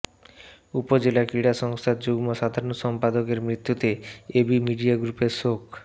উপজেলা ক্রীড়া সংস্থার যুগ্ম সাধারণ সম্পাদকের মৃত্যুতে এবি মিডিয়া গ্রুপের শোক